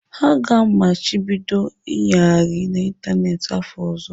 Ha ga-amachibido ịnyagharị n'ịntanetị site n'afọ ọzọ.